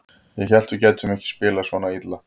Ég hélt að við gætum ekki spilað svona illa.